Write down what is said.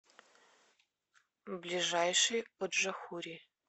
ближайший оджахури